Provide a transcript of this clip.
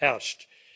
herrscht.